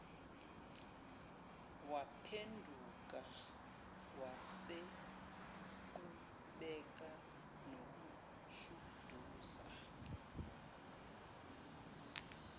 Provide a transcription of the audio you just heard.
waphenduka waseqhubeka nokushuduza